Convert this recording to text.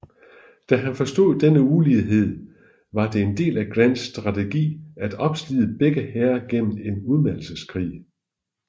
Da han forstod denne ulighed var det en del af Grants strategi at opslide begge hære gennem en udmattelseskrig